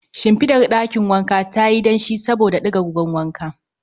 Shinfidar ɗakin wanka tayi danshi saboda digar ruwan wanka